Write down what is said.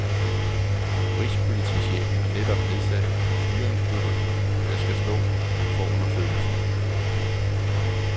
Rigspolitichefen har netop nedsat en styringsgruppe, der skal stå for undersøgelsen.